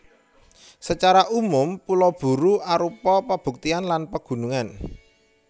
Sacara umum Pulo Buru arupa pabukitan lan pegunungan